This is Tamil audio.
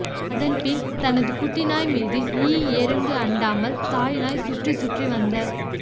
அதன்பின் தனது குட்டி நாய் மீது ஈ எறும்பு அண்டாமல் தாய் நாய் சுற்றிச் சுற்றி வந்த